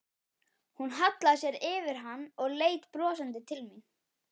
Hún hallaði sér yfir hann og leit brosandi til mín.